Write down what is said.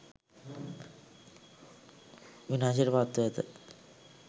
විනාශයට පත් ව ඇත